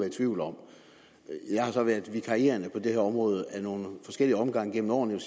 i tvivl om jeg har så været vikarierende på det her område i nogle forskellige omgange gennem årene